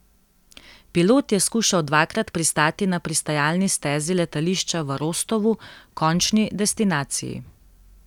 Pilot je skušal dvakrat pristati na pristajalni stezi letališča v Rostovu, končni destinaciji.